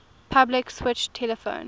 public switched telephone